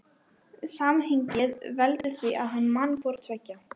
Samhengið veldur því að hann man hvort tveggja.